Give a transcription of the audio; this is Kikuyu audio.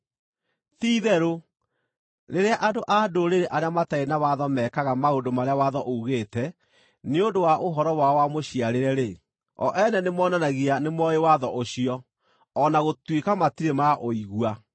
(Ti-itherũ, rĩrĩa andũ-a-Ndũrĩrĩ arĩa matarĩ na watho mekaga maũndũ marĩa watho uugĩte nĩ ũndũ wa ũhoro wao wa mũciarĩre-rĩ, o ene nĩmonanagia nĩmooĩ watho ũcio, o na gũtuĩka matirĩ maũigua